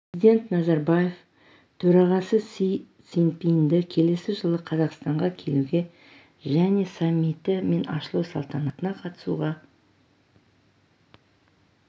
президент назарбаев төрағасы си цзиньпинді келесі жылы қазақстанға келуге және саммиті мен ашылу салтанатына қатысуға